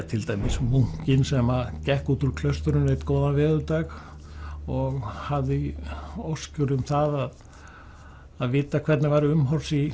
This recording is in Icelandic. til dæmis munkinn sem gekk út úr klaustrinu einn góðan veðurdag og hafði óskir um það að vita hvernig væri umhorfs í